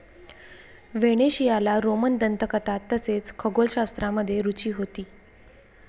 व्हेनेशियाला Roman दंतकथा तसेच खगोलशास्त्रामध्ये रुची होती ।